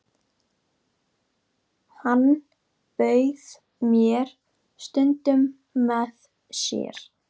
Hann bauð mér stundum með sér.